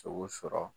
Sogo sɔrɔ